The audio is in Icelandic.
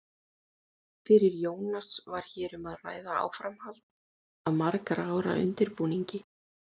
Fyrir Jónas var hér um að ræða áframhald af margra ára undirbúningi.